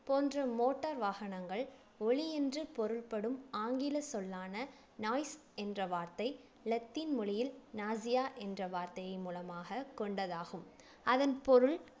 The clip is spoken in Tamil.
போன்ற motor வாகனங்கள் ஒலியென்று பொருள்படும் ஆங்கில சொல்லான noise என்ற வார்த்தை லத்தீன் மொழியில் நாசியா என்ற வார்த்தையின் மூலமாக கொண்டதாகும் அதன் பொருள்